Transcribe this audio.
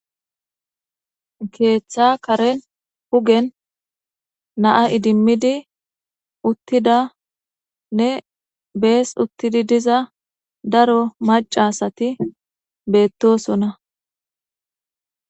Keetha karen hugen na'a iddimidi uttidanne bees uttidi diza daro macca asati beetosona.